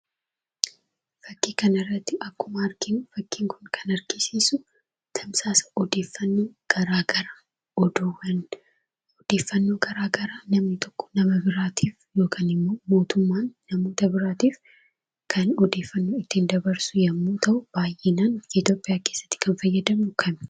Fakkii kana irratti akkuma arginu, fakkiin kun kan argisiisu tamsaasa odeeffannoo garaa gara namni tokko nama biraatiif yookaan mootummaan namoota biraatiif kan odeeffannoo ittiin dabarsu yemmuu ta'u, baay'inaan Itoophiyaa keessatti kan fayyadamnu isa kana.